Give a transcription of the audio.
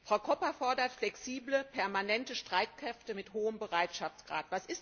Frau Koppa fordert flexible permanente Streitkräfte mit hohem Bereitschaftsgrad.